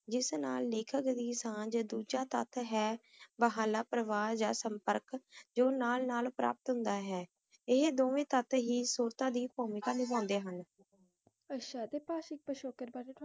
ਸਮਾਂ ਨਾਭੀਨਾਲ ਨਾਲ ਪ੍ਰਭਾਵਿਤ ਨਹੀਂ ਹੁੰਦਾ